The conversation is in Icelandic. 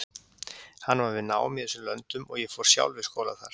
Hann var við nám í þessum löndum og ég fór sjálf í skóla þar.